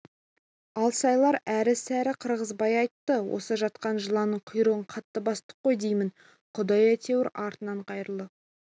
алсайлар әрі-сәрі қырғызбай айтты осы жатқан жыланның құйрығын қатты бастық қой деймін құдай әйтеуір артын қайырлы